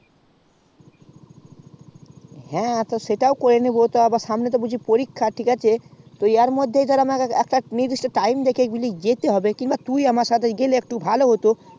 হ্যা সেটাও করে নেবো তো তা সামনে তও পরীক্ষা তো এর মধ্যে একটা time দেখে যেতে হবে তা তুই আমার সাথে গেলে একটু ভালো হতো